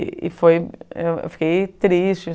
E foi, eu fiquei triste.